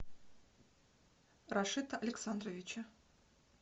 рашита александровича